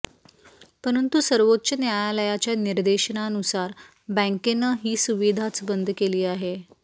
परंतु सर्वोच्च न्यायालयाच्या निर्देशानुसार बँकेनं ही सुविधाच बंद केली आहे